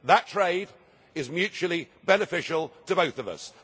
That trade is mutually beneficial to both of us.